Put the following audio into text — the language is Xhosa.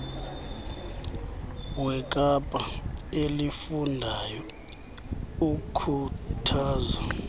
wekapa elifundayo ukhuthaza